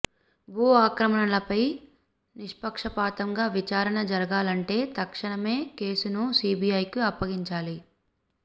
భూ ఆక్రమణలపై నిష్పక్షపాతంగా విచారణ జరగాలంటే తక్షణమే కేసును సీబీఐకి అప్పగించాలి